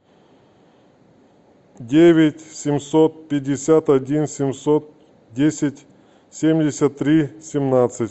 девять семьсот пятьдесят один семьсот десять семьдесят три семнадцать